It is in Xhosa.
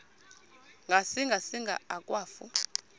ngasinga singa akwafu